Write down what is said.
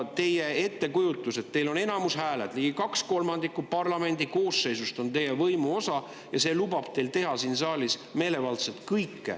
Teil on ettekujutus, et kuna teil on häälteenamus, ligi kaks kolmandikku parlamendi koosseisust on teie võimu osa, siis see lubab teil meelevaldselt teha siin saalis kõike.